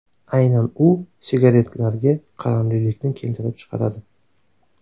Aynan u sigaretlarga qaramlilikni keltirib chiqaradi.